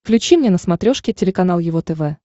включи мне на смотрешке телеканал его тв